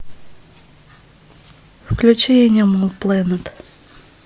включи энимал плэнет